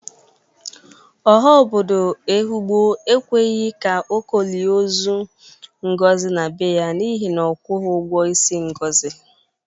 Ọha obodo Ehụgbọ ekweghi ka Oko lie ọzọ Ngozi n'ebe ya n'ihi na ọ agwọghi ọgwọ isi Ngọzị.